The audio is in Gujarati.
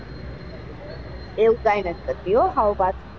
એવું કઈ નથી કરતી હો સાવ પાછુ.